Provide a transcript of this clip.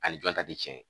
Ani jɔn ta ti cɛn ye